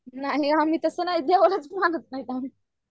नाही आम्ही तसं नाही देवालाच मानत नाही आम्ही.